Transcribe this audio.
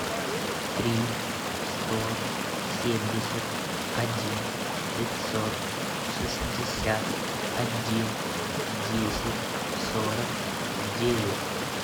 три сто семьдесят один пятьсот шестьдесят один десять сорок девять